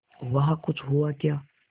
वहाँ कुछ हुआ क्या